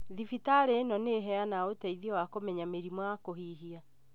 Thibitarĩ ĩno nĩĩheanaga ũteithio wa kũmenya mĩrimũ ya kũhihia